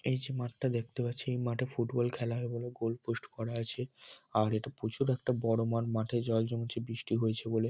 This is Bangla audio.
এই যে মাঠটা দেখতে পাচ্ছি এই মাঠে ফুটবল খেলা হয় এবং গোল পোস্ট করা আছে আর এটা প্রচুর একটা বড় মাঠ। মাঠে জল জমেছেবৃষ্টি হয়েছে বলে ।